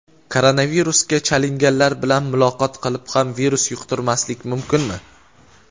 Koronavirusga chalinganlar bilan muloqot qilib ham virus yuqtirmaslik mumkinmi?.